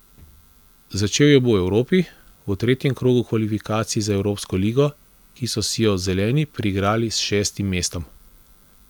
Začel jo bo v Evropi, v tretjem krogu kvalifikacij za evropsko ligo, ki so si jo zeleni priigrali s šestim mestom.